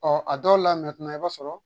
Ɔ a dɔw la mɛtinan i b'a sɔrɔ